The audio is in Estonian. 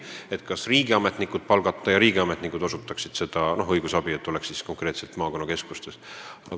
Arutasime, kas võiks palgata riigiametnikud, kes osutaksid õigusabi konkreetsetes maakonnakeskustes.